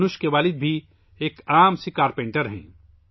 دھنش کے والد بھی ایک سادہ کارپینٹر ہیں